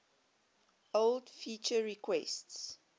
old feature requests